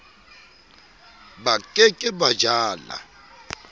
ba ke ke ba jala